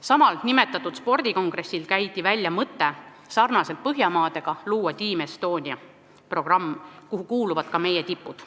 Samal nimetatud spordikongressil käidi välja mõte luua sarnaselt Põhjamaadega Team Estonia programm, kuhu kuuluvad ka meie tipud.